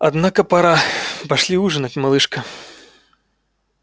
однако пора пошли ужинать малышка